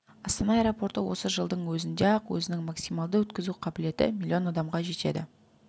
астана аэропорты осы жылдың өзінде-ақ өзінің максималды өткізу қабілеті миллион адамға жетеді